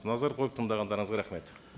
назар қойып тыңдағандарыңызға рахмет